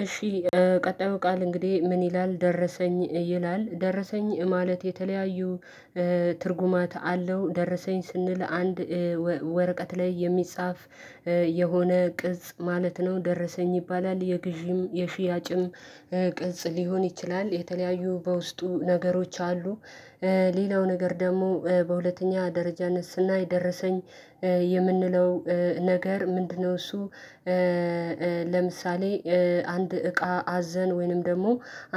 እሺ ቀጣዩ ቃል እንግዲህ ምን ይላል? ደረሰኝ ይላል ደረሰኝ ማለት የተለያዩ ትርጉማት አለው። ደረሰኝ ስንል አንድ ወረቀት ላይ የሚጻፍ የሆነ ቅጽ ማለት ነው ደረሰኝ ይባላል። የግዢም የሽያጭም ቅጽ ሊሆን ይችላል። የተለያዩ በውስጡ ነገሮች አሉ። ሌላው ነገር ደግሞ በሁለተኛ ደረጃነት ስናይ ደረሰኝ የምንለው ነገር ምንድነው እሱ? ለምሳሌ አንድ እቃ አዝዘን ወይንም ደግሞ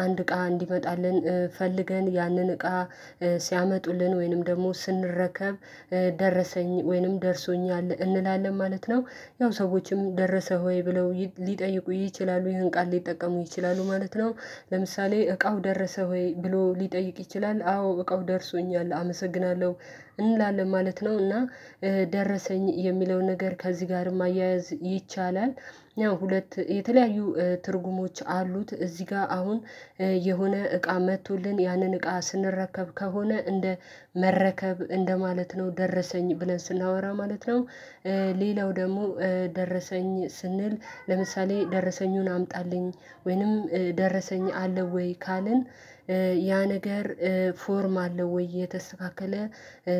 አንድ እቃ እንዲመጣልን ፈልገን ያንን እቃ ሲያመጡልን ወይንም ደግሞ ስንረከብ ደረሰኝ ወይንም ደርሶኛል እንላለን ማለት ነው። ያው ሰዎችም ደረሰ ሆይ ብለው ሊጠይቁ ይችላሉ፣ ይሄን ቃል ሊጠቀሙ ይችላሉ ማለት ነው። ለምሳሌ እቃው ደረሰ ሆይ ብሎ ሊጠይቅ ይችላል። አዎ እቃው ደርሶኛል አመሰግናለሁ እንላለን ማለት ነው። እና ደረሰኝ የሚለው ነገር ከዚህ ጋርም አያያዝ ይቻላል። ያው ሁለት የተለያዩ ትርጉሞች አሉት። እዚህ ጋር አሁን የሆነ እቃ መጥቶልን ያንን እቃ ስንረከብ ከሆነ እንደ መረከብ እንደማለት ነው ደረሰኝ ብለን ስናወራ ማለት ነው። ሌላው ደግሞ ደረሰኝ ስንል ለምሳሌ ደረሰኙን አምጣልኝ ወይንም ደረሰኝ አለ ወይ ካልን ያ ነገር ፎርም አለው ወይ? የተስተካከለ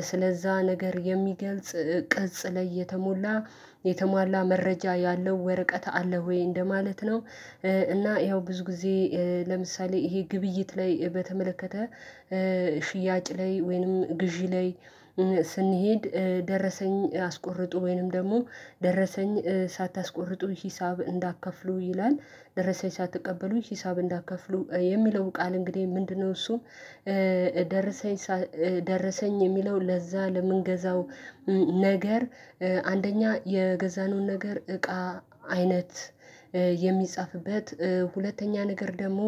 ስለዛ ነገር የሚገልጽ ቅጽ ላይ የተሞላ የተሟላ መረጃ ያለው ወረቀት አለ ወይ? እንደማለት ነው። እና ያው ብዙ ጊዜ ለምሳሌ ይሄ ግብይት ላይ በተመለከተ ሽያጭ ላይ ወይንም ግዢ ላይ ስንሄድ ደረሰኝ አስቆርጡ ወይንም ደግሞ ደረሰኝ ሳታስቆርጡ ሂሳብ እንዳትከፍሉ ይላል። ደረሰሽ አትቀበሉ ሂሳብ እንዳትከፍሉ የሚለው ቃል እንግዲህ ምንድነው እሱ? ደረሰኝ፣ ደረሰኝ የሚለው ለዛ ለምንገዛው ነገር አንደኛ የገዛነውን ነገር እቃ አይነት የሚጻፍበት፣ ሁለተኛ ነገር ደግሞ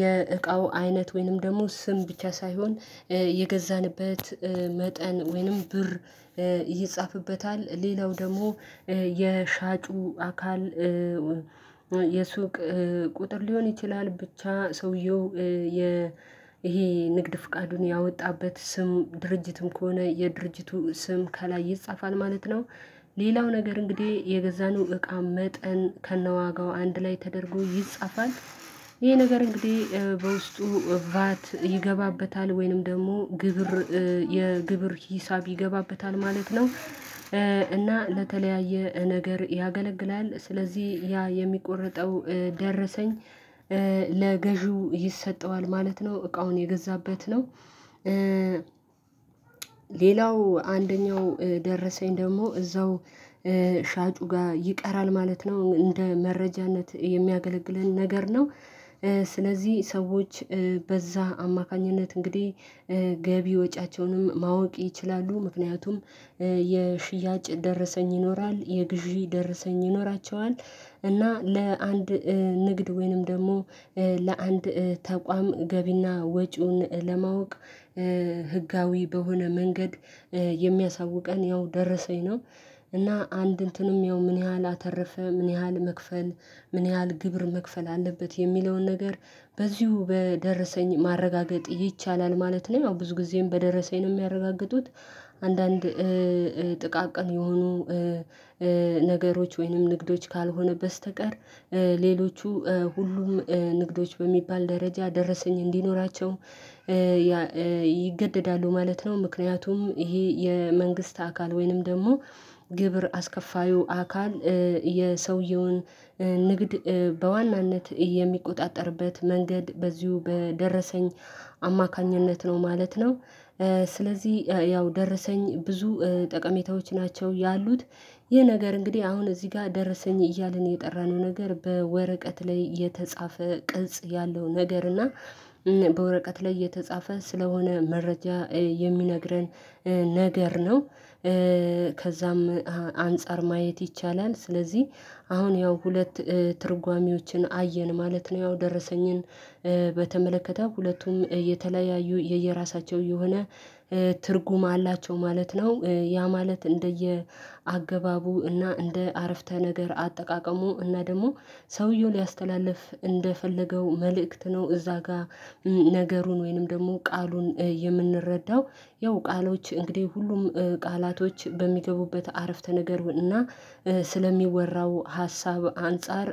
የእቃው አይነት ወይንም ደግሞ ስም ብቻ ሳይሆን የገዛንበት መጠን ወይንም ብር ይጻፍበታል። ሌላው ደግሞ የሻጩ አካል የሱቅ ቁጥር ሊሆን ይችላል፣ ብቻ ሰውየው የ ይሄ ንግድ ፍቃዱን ያወጣበት ስም፣ ድርጅትም ከሆነ የድርጅቱ ስም ከላይ ይጻፋል ማለት ነው። ሌላው ነገር እንግዲህ የገዛነው እቃ መጠን ከነዋጋው አንድ ላይ ተደርጎ ይጻፋል። ይሄ ነገር እንግዲህ በውስጡ ቫት ይገባበታል ወይንም ደግሞ ግብር፣ የግብር ሂሳብ ይገባበታል ማለት ነው። እና ለተለያየ ነገር ያገለግላል ስለዚህ ያ የሚቆርጠው ደረሰኝ ለገዢው ይሰጠዋል ማለት ነው፤ እቃውን የገዛበት ነው። ሌላው አንደኛው ደረሰኝ ደግሞ እዛው ሻጩ ጋር ይቀራል ማለት ነው እንደ መረጃነት የሚያገለግለን ነገር ነው። ስለዚህ ሰዎች በዛ አማካኝነት እንግዲህ ገቢ፣ ወጪያቸውንም ማወቅ ይችላሉ። ምክንያቱም የሽያጭ ደረሰኝ ይኖራል። የግዢ ደረሰኝ ይኖራቸዋል እና ለአንድ ንግድ ወይንም ደግሞ ለአንድ ተቋም ገቢና ወጪውን ለማወቅ ህጋዊ በሆነ መንገድ የሚያሳውቀን ያው ደረሰኝ ነው። እና አንድ እንትኑም ያው ምን ያህል አተረፈ? ምን ያህል መክፈል ምን ያህል ግብር መክፈል አለበት? የሚለውን ነገር በዚሁ በደረሰኝ ማረጋገጥ ይቻላል ማለት ነው። ያው ብዙ ጊዜም በደረሰኝ ነው የሚያረጋግጡት። አንዳንድ ጥቃቅን የሆኑ ነገሮች ወይንም ንግዶች ካልሆነ በስተቀር ሌሎቹ ሁሉም ንግዶች በሚባል ደረጃ ደረሰኝ እንዲኖራቸው ይገደዳሉ ማለት ነው። ምክንያቱም ይሄ የመንግስት አካል ወይንም ደግሞ ግብር አስከፋዩ አካል የሰውየውን ንግድ በዋናነት የሚቆጣጠርበት መንገድ በዚሁ በደረሰኝ አማካኝነት ነው ማለት ነው። ስለዚህ ያው ደረሰኝ ብዙ ጠቀሜታዎች ናቸው ያሉት። ይህ ነገር እንግዲህ አሁን እዚህ ጋር ደረሰኝ እያልን የጠራነው ነገር በወረቀት ላይ የተጻፈ ቅጽ ያለው ነገር እና በወረቀት ላይ እየተጻፈ ስለሆነ መረጃ የሚነግረን ነገር ነው። ከዛም አንፃር ማየት ይቻላል። ስለዚህ አሁን ያው ሁለት ትርጓሜዎችን አየን ማለት ነው ያው ደረሰኝን በተመለከተ ሁለቱም የተለያዩ የየራሳቸው የሆነ ትርጉም አላቸው ማለት ነው። ያ ማለት እንደየ አገባቡ እና እንደ አረፍተ ነገር አጠቃቀሙ እና ደግሞ ሰውየውን ሊያስተላልፍ እንደፈለገው መልእክት ነው እዛ ጋር ነገሩን ወይንም ደግሞ ቃሉን የምንረዳው። ያው ቃሎች እንግዲህ ሁሉም ቃላቶች በሚገቡበት አረፍተ ነገር እና ስለሚወራው ሀሳብ አንፃር